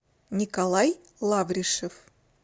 николай лавришев